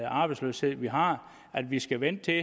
arbejdsløshed vi har vi skal vente